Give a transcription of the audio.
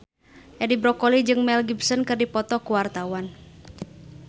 Edi Brokoli jeung Mel Gibson keur dipoto ku wartawan